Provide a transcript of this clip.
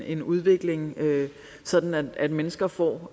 en udvikling sådan at mennesker får